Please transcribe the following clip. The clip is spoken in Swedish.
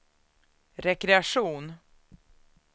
rekreation